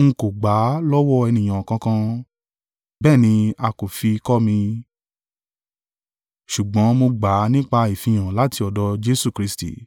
N kò gbà á lọ́wọ́ ènìyàn kankan, bẹ́ẹ̀ ni a kò fi kọ́ mi, ṣùgbọ́n mo gbà á nípa ìfihàn láti ọ̀dọ̀ Jesu Kristi.